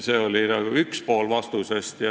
See oli vastuse üks pool.